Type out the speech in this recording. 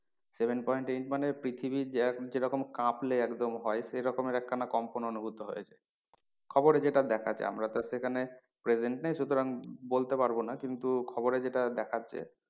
Seven point eight মানে পৃথিবী যেরকম কাঁপলে একদম হয় সে রকমের একখানা কম্পন অনুভূত হয়েছে। খবরে যেটা দেখাচ্ছে আমরা তো আর সেখানে present নেই সুতরাং বলতে পারবো না কিন্তু খবরে যেটা দেখাচ্ছে